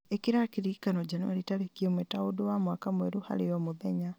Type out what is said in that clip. ĩkĩra kĩririkano njanũari tarĩki ĩmwe ta ũndũ wa mwaka mwerũ harĩ o mũthenya